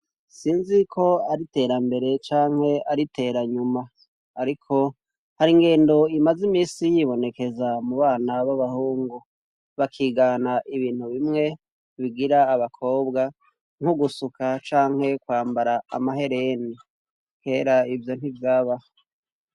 Sinzi ko ari iterambere canke ari iteranyuma ariko hari ingendo imaze imisi yibonekeza mu bana b'abahungu bakigana ibintu bimwe bigira abakobwa nk'ugusuka canke kwambara amahereni kera ivyo ntivyaba.